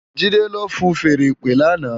Jide ló fúùn fèèrè ìpè làná